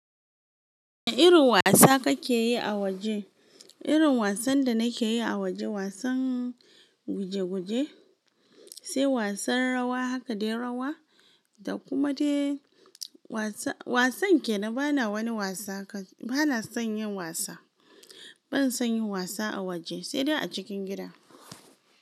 Wane irin wasa kake yi a waje? Irin wasan da nake yi a waje, wasan guje-guje, sai wasan rawa haka dai rawa, da kuma dai wasa, wasan kena bana wani wasa ka, bana son yin wasa. Ban son yin wasa a waje sai dai a cikin gida.